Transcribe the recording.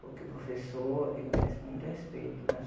Porque o professor, ele merece muito respeito, né?